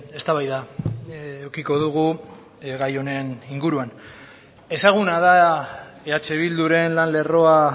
eztabaida edukiko dugu gai honen inguruan ezaguna da eh bilduren lan lerroa